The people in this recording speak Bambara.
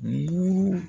Bugu